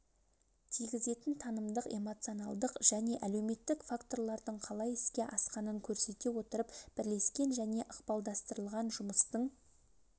тигізетін танымдық эмоционалдық және әлеуметтік факторлардың қалай іске асқанын көрсете отырып бірлескен және ықпалдастырылған жұмыстың